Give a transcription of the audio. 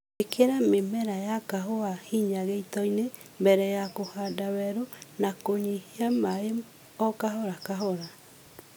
Ĩkĩra mĩmera ya kahũa hinya gĩitoinĩ mbere ya kũhanda werũ na kũnyihia maĩĩ o kahora kahora